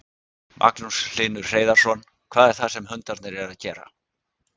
Magnús Hlynur Hreiðarsson: Hvað er það sem hundarnir eru að gera?